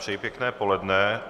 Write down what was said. Přeji pěkné poledne.